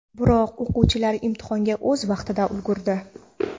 Biroq o‘quvchilar imtihonga o‘z vaqtida ulgurdi.